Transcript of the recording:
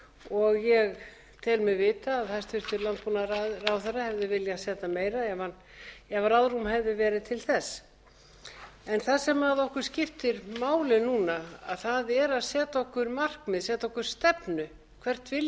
og ég tel mig vita að hæstvirtur landbúnaðarráðherra hefði viljað setja meira ef ráðrúm hefði verið til þess það sem okkur skiptir máli núna er að setja okkur markmið setja okkur stefnu hvert